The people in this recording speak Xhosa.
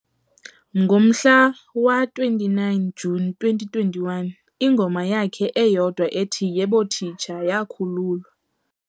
Ngomhla wa-29 Juni 2021, ingoma yakhe eyodwa ethi "Yebo Teacher" yakhululwa.